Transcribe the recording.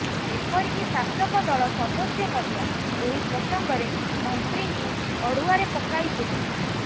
ଏପରିକି ଶାସକ ଦଳ ସଦସ୍ୟ ମଧ୍ୟ ଏହି ପ୍ରସଙ୍ଗରେ ମନ୍ତ୍ରୀଙ୍କୁ ଅଡୁଆରେ ପକାଇଥିଲେ